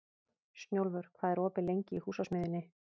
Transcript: Snjólfur, hvað er opið lengi í Húsasmiðjunni?